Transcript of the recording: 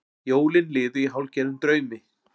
Jólin liðu í hálfgerðum draumi.